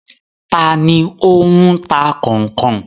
Ta ni ó ń ta kọ̀nkọ̀n?